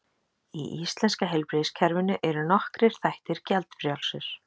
Í íslenska heilbrigðiskerfinu eru nokkrir þættir gjaldfrjálsir.